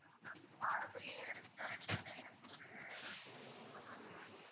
ma'am பாரம்பரியம் ரெஸ்டாரெண்ட்ல எனக்கு ஒரு room book பண்ணனும் ma'am